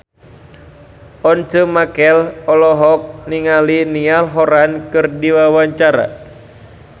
Once Mekel olohok ningali Niall Horran keur diwawancara